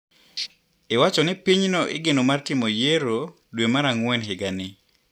Iwachoni pinyno igeno mar timo yiero dwe mar ang`wen higani.